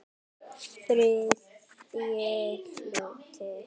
Þriðji hluti